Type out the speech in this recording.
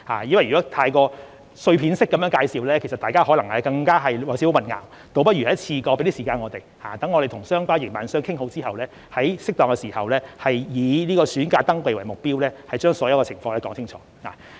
因為如果太過碎片式地介紹，大家可能會感到少許混淆，倒不如一次過，給我們一點時間，讓我們與相關營辦商談妥後，在適當時候——以在暑假登記為目標——把所有情況說明清楚。